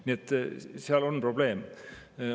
Nii et seal on probleem.